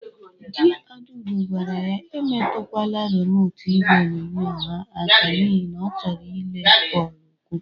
Di Adaugo gwara ya emetụkwala remotu igwe onyonyo ha aka n'ihi na ọ chọrọ ile bọọlụ ụkwụ!